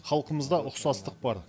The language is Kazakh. халқымызда ұқсастық бар